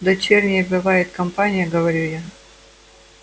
дочерняя бывает компания говорю я